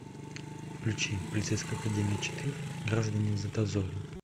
включи полицейская академия четыре граждане в дозоре